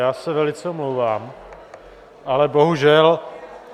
Já se velice omlouvám, ale bohužel.